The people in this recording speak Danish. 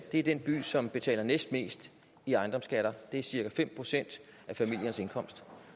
det er den by som betaler næstmest i ejendomsskatter det er cirka fem procent af familiernes indkomst